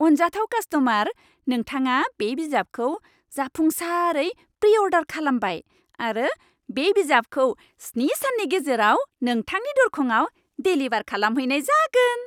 अनजाथाव कास्ट'मार! नोंथाङा बे बिजाबखौ जाफुंसारै प्रि अर्डार खालामबाय आरो बे बिजाबखौ स्नि साननि गेजेराव नोंथांनि दर्खङाव डेलिबार खालामहैनाय जागोन।